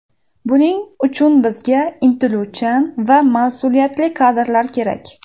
Buning uchun bizga intiluvchan va mas’uliyatli kadrlar kerak.